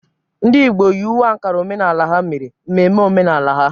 Ndị Igbo yi uwe Ankara omenala ha mere mmemme omenala ha.